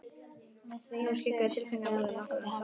Nú skyggðu tilfinningamál nokkuð á samband þeirra.